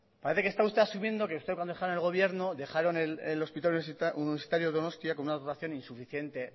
parece que esta usted asumiendo que usted cuando dejaron el gobierno dejaron el hospital universitario de donostia con una dotación insuficiente